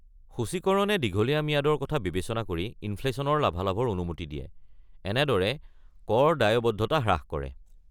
সূচীকৰণে দীঘলীয়া ম্যাদৰ কথা বিবেচনা কৰি ইনফ্লেশ্যনৰ লাভালাভৰ অনুমতি দিয়ে, এনেদৰে কৰ দায়বদ্ধতা হ্ৰাস কৰে।